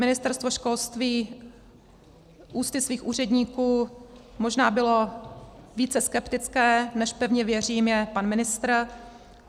Ministerstvo školství ústy svých úředníků možná bylo více skeptické, než, pevně věřím, je pan ministr.